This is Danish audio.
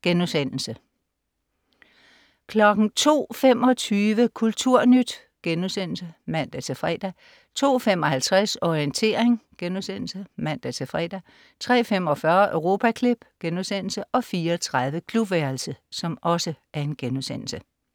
02.25 Kulturnyt* (man-fre) 02.55 Orientering* (man-fre) 03.45 Europaklip* 04.30 Klubværelset*